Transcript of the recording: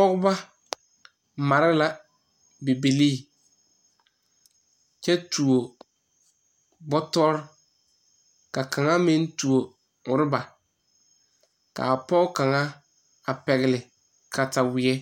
Pɔgba mare la Bibiire kyɛ tuo bɔtɔre kyɛ ka a pɔge kaŋ tuo ɔrɔba. A pɔge kaŋ pɛgle la katawie